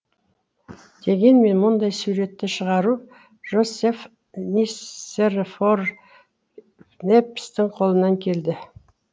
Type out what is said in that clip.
дегенмен мұндай суретті шығару жозеф нисерфор ньепстің қолынан келді